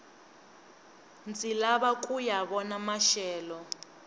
ndzi lava kuya vona maxelo